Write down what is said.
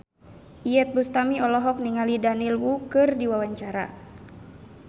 Iyeth Bustami olohok ningali Daniel Wu keur diwawancara